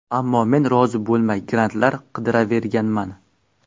Ammo men rozi bo‘lmay, grantlar qidiraverganman.